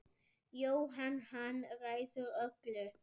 Jóhann: Hann ræður öllu?